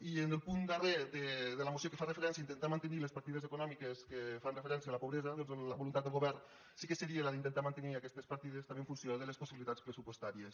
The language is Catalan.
i en el punt darrer de la moció que fa referència a intentar mantenir les partides econòmiques que fan referència a la pobresa la voluntat del govern sí que seria la d’intentar mantenir aquestes partides també en funció de les possibilitats pressupostàries